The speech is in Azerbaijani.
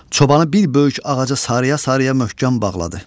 Çobanı bir böyük ağaca sarıya-sarıya möhkəm bağladı.